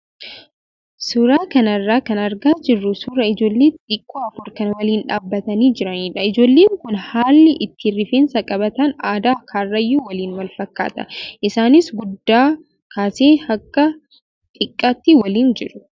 Suuraa kana irraa kan argaa jirru suuraa ijoollee xixiqqoo afur kan waliin dhaabbatanii jiranidha. Ijoolleen kun haalli ittiin rifeensa qabatan aadaa karrayyuu waliin wal fakkaata. Isaanis guddaa kaasee haga xiqqaatti waliin jiru.